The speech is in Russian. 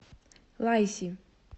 лайси